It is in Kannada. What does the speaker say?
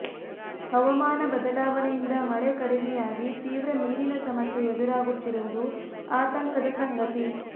ಹವಾಮಾನ ಬದಲಾವಣೆಯಿಂದ ಮಳೆ ಕಡಿಮೆಯಾಗಿ ತೀವ್ರ ನೀರಿನ ಸಮಸ್ಯೆ ಎದುರಾಗುತ್ತಿರುವುದು ಆತಂಕದ ಸಂಗತಿ